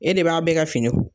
E de b'a bɛɛ ka fini k